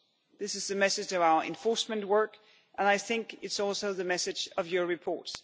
This is the message of our enforcement work and I think it is also the message of your report.